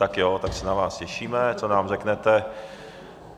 Tak jo, tak se na vás těšíme, co nám řeknete.